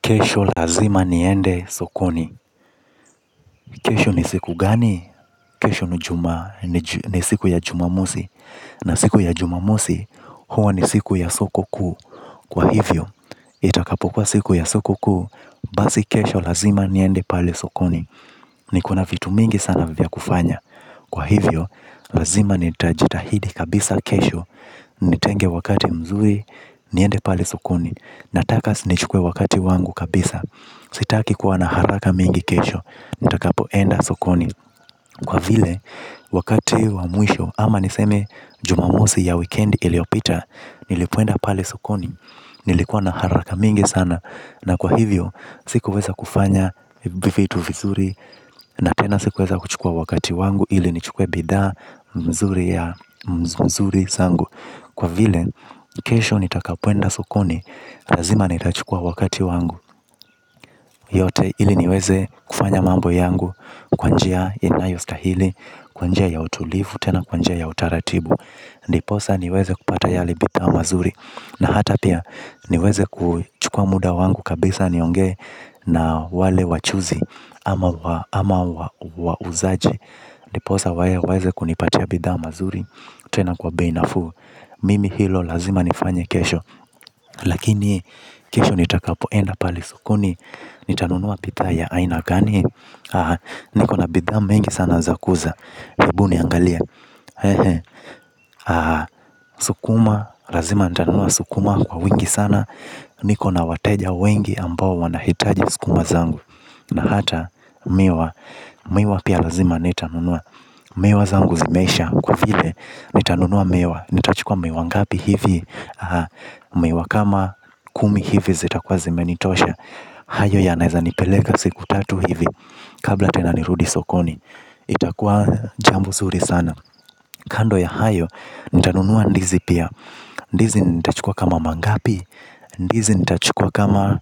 Kesho lazima niende sokoni. Kesho ni siku gani? Kesho ni siku ya jumamosi. Na siku ya jumamosi huwa ni siku ya soko kuu, kwa hivyo, itakapokuwa siku ya soko kuu. Basi kesho lazima niende pale sokoni. Niko na vitu mingi sana vya kufanya kufanya, kwa hivyo, lazima nitajitahidi kabisa kesho. Nitenge wakati mzuri. Niende pale sokoni. Nataka nichukue wakati wangu kabisa. Sitaki kuwa na haraka mingi kesho, nitakapoenda sokoni kwa vile, wakati wa mwisho ama niseme jumamosi ya wikendi iliyopita. Nilipoenda pale sokoni, nilikuwa na haraka mingi sana na kwa hivyo, sikuweza kufanya vitu vizuri. Na tena sikuweza kuchukua wakati wangu ili nichukue bidhaa mzuri ya mzuri zangu kwa vile, kesho nitakapoenda sokoni, lazima nitachukua wakati wangu. Yote ili niweze kufanya mambo yangu kwa njia inayostahili, kwa njia ya utulivu, tena kwa njia ya utaratibu. Ndiposa niweze kupata yale bidha mazuri na hata pia niweze kuchukua muda wangu kabisa niongee na wale wachuuzi ama wauzaji. Ndiposa waeze kunipatia bidhaa mazuri tena kwa bei nafuu. Mimi hilo lazima nifanye kesho. Lakini kesho nitakapoenda pale sokoni? Nitanunua bidhaa ya aina gani? Niko na bidha mingi sana za kuuza ebu niangalie. Sukuma, lazima nitanunua sukuma kwa wingi sana. Niko na wateja wengi ambao wanahitaji sukuma zangu na hata miwa, miwa pia lazima nitanunua. Miwa zangu zimeisha kwa vile. Nitanunua miwa, nitachukua miwa ngapi hivi? Miwa kama kumi hivi zitakuwa zimenitosha. Hayo yanaeza nipeleka siku tatu hivi. Kabla tena nirudi sokoni. Itakuwa jambo nzuri sana. Kando ya hayo. Nitanunua ndizi pia. Ndizi nitachukua kama mangapi? Ndizi nitachukua kama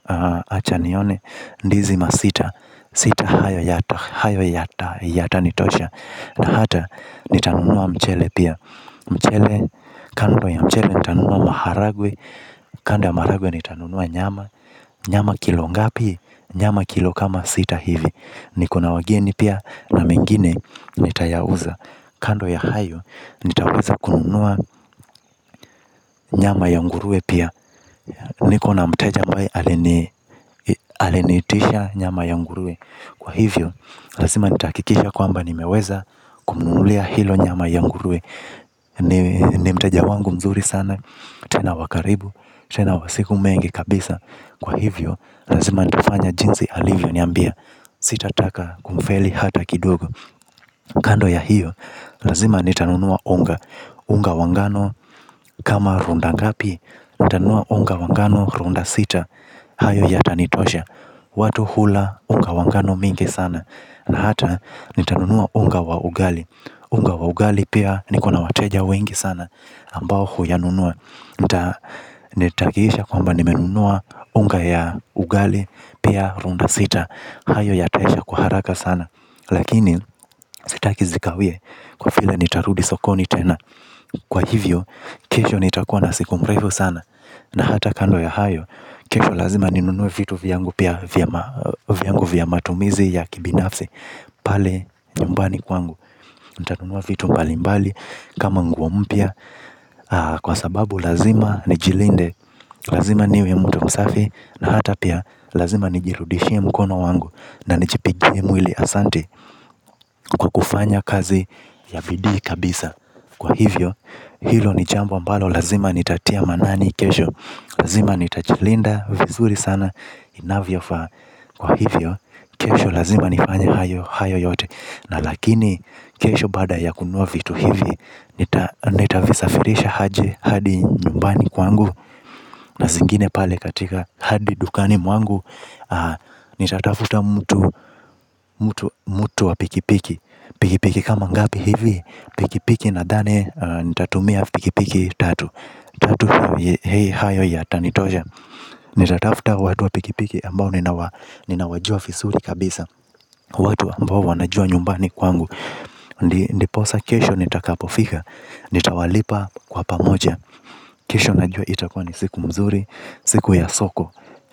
acha nione. Ndizi masita. Sita hayo yatanitosha na hata nitanunua mchele pia. Mchele. Kando ya mchele. Nitanunua maharagwe. Kando ya maharagwe. Nitanunua nyama. Nyama kilo ngapi? Nyama kilo kama sita hivi. Niko na wageni pia na mengine nitayauza. Kando ya hayo, nitaweza kununua nyama ya nguruwe pia. Niko na mteja ambaye aliniitisha nyama ya nguruwe, kwa hivyo, lazima nitakikisha kwamba nimeweza kumnunulia hiyo nyama ya nguruwe. Ni mteja wangu mzuri sana, tena wa karibu, tena wa siku mengi kabisa kwa hivyo, lazima nitafanya jinsi alivyoniambia sitataka kumfeli hata kidogo. Kando ya hiyo. Lazima nitanunua unga. Unga wa ngano kama runda ngapi? Nitanunua unga wangano runda sita. Hayo yatanitosha. Watu hula unga wa ngano mingi sana na hata nitanunua unga wa ugali. Unga wa ugali pia niko na wateja wengi sana ambao huyanunua. Nitahakikisha kwamba nimenunua unga ya ugali pia runda sita. Hayo yataisha kwa haraka sana. Lakini sitaki zikawie kwa vile nitarudi sokoni tena kwa hivyo kesho nitakuwa na siku mrefu sana na hata kando ya hayo. Kesho lazima ninunue vitu vyangu pia vyangu vya matumizi ya kibinafsi. Pale nyumbani kwangu. Nitanunua vitu mbalimbali kama nguo mpya kwa sababu lazima nijilinde. Lazima niwe mtu msafi. Na hata pia lazima nijirudishie mkono wangu na nijipigie mwili ahsante kwa kufanya kazi ya bidii kabisa kwa hivyo hilo ni jambo ambalo lazima nitatia maanani kesho. Lazima nitajilinda vizuri sana inavyofaa kwa hivyo kesho lazima nifanye hayo yote na lakini kesho baada ya kununua vitu hivi. Nitazisafirisha aje hadi nyumbani kwangu? Na zingine pale katika hadi dukani mwangu. Nitatafuta mtu wa pikipiki. Pikipiki kama ngapi hivi pikipiki nadhani. Nitatumia pikipiki tatu, hayo yatanitosha. Nitatafuta watu wa pikipiki ambao ninawajua vizuri kabisa. Watu ambao wanajua nyumbani kwangu. Ndiposa kesho nitakapofika. Nitawalipa kwa pamoja. Kesho najua itakuwa ni siku mzuri. Siku ya soko.